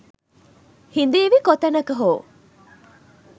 ”හිඳීවි කොතැනක හෝ